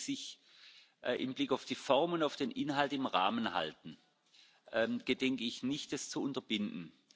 Solange diese sich im Blick auf die Form und den Inhalt im Rahmen halten, gedenke ich nicht, das zu untebinden.